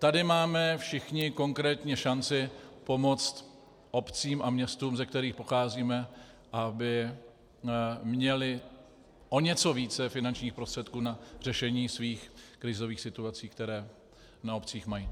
Tady máme všichni konkrétně šanci pomoct obcím a městům, ze kterých pocházíme, aby měly o něco více finančních prostředků na řešení svých krizových situací, které na obcích mají.